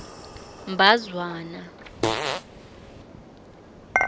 mbazwana